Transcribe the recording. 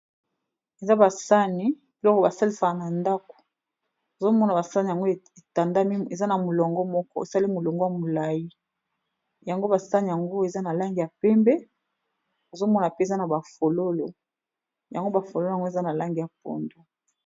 eza basani biloko basalisaka na ndako ozomona basani yango etandami eza na molongo moko osali molongwa molai yango basani yango eza na langi ya pembe ozomona mpenza na bafololo yango bafololo yango eza na langi ya pondo